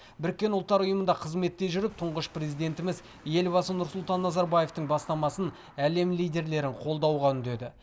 біріккен ұлттар ұйымында қызметте жүріп тұңғыш президентіміз елбасы нұрсұлтан назарбаевтың бастамасын әлем лидерлерін қолдауға үндеді